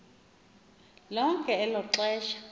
lonke elo xesha